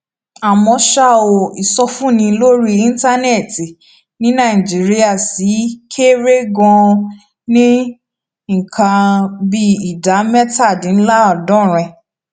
àmó ṣá o ìsọfúnni lórí íńtánẹẹtì ní nàìjíríà ṣì kéré ganan ní nǹkan bí ìdá métàdínláàádọrin